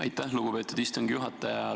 Aitäh, lugupeetud istungi juhataja!